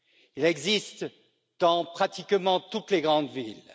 Il existe dans pratiquement toutes les grandes villes.